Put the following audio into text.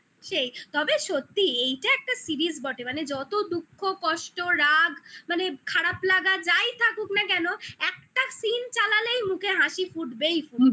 সেই তবে সত্যি এইটা একটা series বটে মানে যত দুঃখ, কষ্ট, রাগ মানে খারাপ লাগা যাই থাকুক না কেন একটা scene চালালেই মুখে হাসি ফুটবেই ফুটবে